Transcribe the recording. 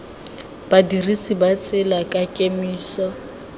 badirisi ba tsela ka kemiso